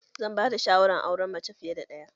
Zan ba da shawara akan auren mace fiye ɗaya